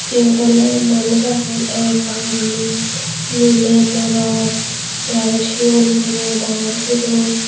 iyot oley manuj agon ektal guriney miley morot tey aro sigon guro dangor guro.